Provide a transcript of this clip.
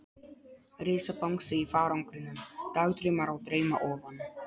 Risabangsi í farangrinum, dagdraumar á drauma ofan.